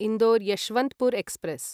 Indore Yesvantpur express